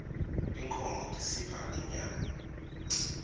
tinkhmo tisipha inyama